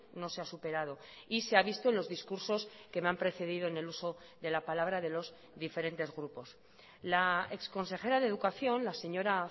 no se ha superado y se ha visto en los discursos que me han precedido en el uso de la palabra de los diferentes grupos la exconsejera de educación la señora